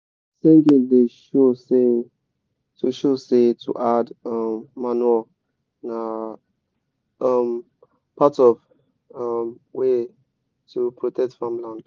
singing da show say to show say to add um manure na um part of um way to protect farm land